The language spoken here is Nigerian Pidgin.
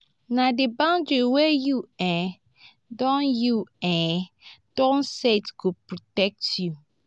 na di boundaries wey you um don you um don set go protect you.